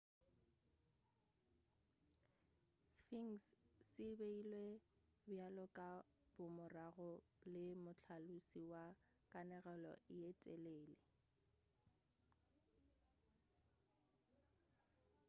sphinx se beilwe bjalo ka bomorago le mohlalosi wa kanegelo ye telele